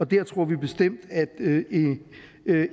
der tror vi bestemt at